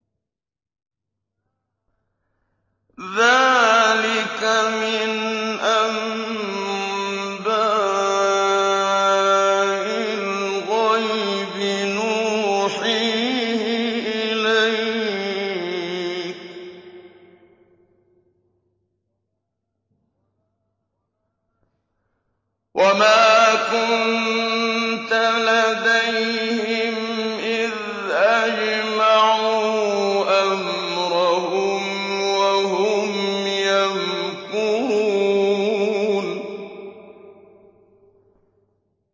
ذَٰلِكَ مِنْ أَنبَاءِ الْغَيْبِ نُوحِيهِ إِلَيْكَ ۖ وَمَا كُنتَ لَدَيْهِمْ إِذْ أَجْمَعُوا أَمْرَهُمْ وَهُمْ يَمْكُرُونَ